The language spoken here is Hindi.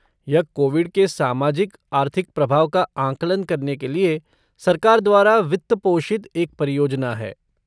यह कोविड के सामाजिक आर्थिक प्रभाव का आंकलन करने के लिए सरकार द्वारा वित्त पोषित एक परियोजना है।